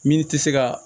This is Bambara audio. Min tɛ se ka